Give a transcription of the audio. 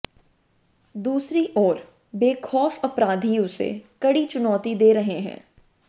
दूसरी ओर बेखौफ अपराधी उसे कड़ी चुनौती दे रहे हैं